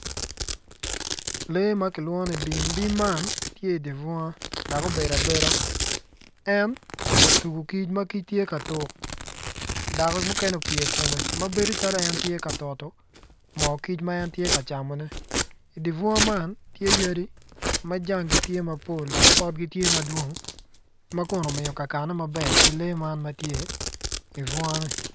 Lee ma kilwongo ni bim, bim man tye i dye bunga dok obedo beda en otugo kic ma kic tye ka tuk dok mukene opye i kome dok bedo calo en tye ka toto moo kic ma en tye ka camone i dye bunga man tye yadi ma jangi tye mapol ma kun omiyo kakane maber ki lee ma tye i bunga-ni.